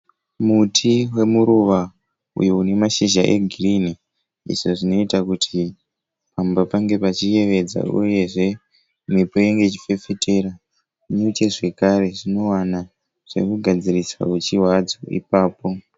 Muti wemuruva uyo une mashizha egirinhi izvo zvinoita kuti pamba pange pachiyevedza uyezve mhepo inenge ichifefetera nyuchi zvakare dzinowana zvekugadzirisa huchi hwadzo ipapo.